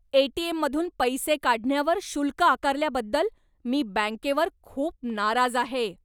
एटीएममधून पैसे काढण्यावर शुल्क आकारल्याबद्दल मी बँकेवर खूप नाराज आहे.